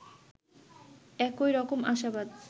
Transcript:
একই রকম আশাবাদ